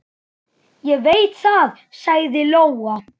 Ég veit það, sagði Lóa.